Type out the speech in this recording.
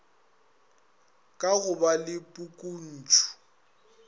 ka go ba le pukuntšu